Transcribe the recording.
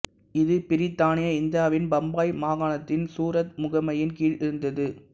இது பிரித்தானிய இந்தியாவின் பம்பாய் மாகாணத்தின் சூரத் முகமையின் கீழ் இருந்தது